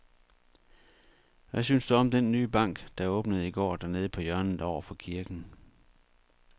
Hvad synes du om den nye bank, der åbnede i går dernede på hjørnet over for kirken?